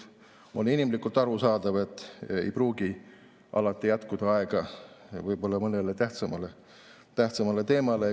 On inimlikult arusaadav, et tal ei pruugi alati jätkuda aega mõnele tähtsamale teemale.